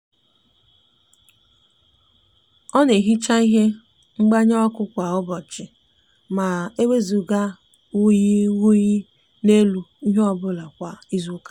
o n'ehicha ihe ngbanye oku kwa ubochi ma wezuga uyiguyi n'elu ihe obula kwa izuuka